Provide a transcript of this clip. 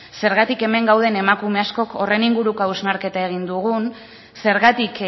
zergatik hemen gauden emakume askok horren inguruko hausnarketa egin dugun zergatik